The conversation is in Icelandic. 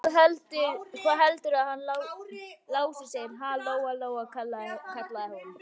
Hvað heldurðu að hann Lási segði, ha, Lóa-Lóa, kallaði hún.